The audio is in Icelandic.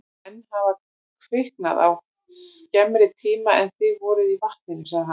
Menn hafa króknað á skemmri tíma en þið voruð í vatninu, sagði hann.